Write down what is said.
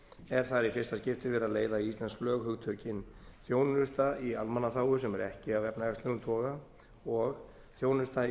er þar í fyrsta skipti verið að leiða í íslensk lög hugtökin þjónusta í almannaþágu sem er ekki af efnahagslegum toga og þjónusta í